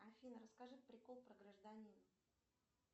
афина расскажи прикол про гражданина